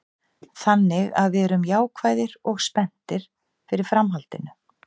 Þannig að við erum jákvæðir og spenntir fyrir framhaldinu.